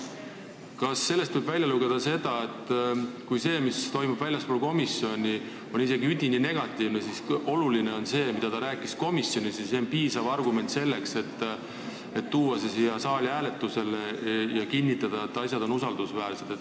Kas sellest võib välja lugeda, et isegi kui see, mis toimub väljaspool komisjoni, on üdini negatiivne, siis oluline on see, mida ta rääkis komisjonis, mis on omakorda piisav argument selleks, et tuua see eelnõu siia saali hääletusele ja kinnitada, et asjad on usaldusväärsed?